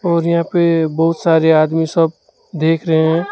और यहां पे बहोत सारे आदमी सब देख रहे हैं।